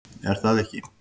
Er það ekki